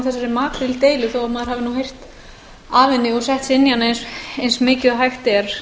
maður hafi nú heyrt af henni og sett sig inn í hana eins mikið og hægt er